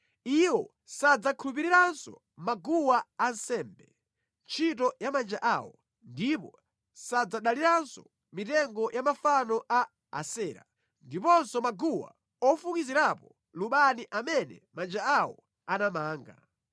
Iwo sadzakhulupiriranso maguwa ansembe, ntchito ya manja awo, ndipo sadzadaliranso mitengo ya mafano a Asera, ndiponso maguwa ofukizirapo lubani amene manja awo anapanga.